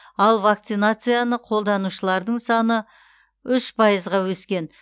ал вакцинацияны қолдаушылардың саны үш пайызға өскен